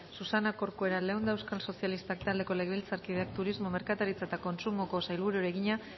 susana corcuera leunda euskal sozialistak taldeko legebiltzarkideak turismo merkataritza eta kontsumoko sailburuari egina